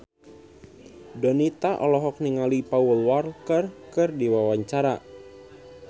Donita olohok ningali Paul Walker keur diwawancara